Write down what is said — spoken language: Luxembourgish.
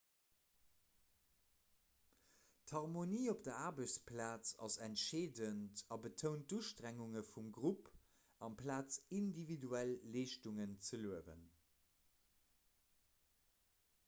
d'harmonie op der aarbechtsplaz ass entscheedend a betount d'ustrengunge vum grupp amplaz individuell leeschtungen ze luewen